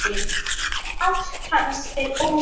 Ætt hans er óþekkt.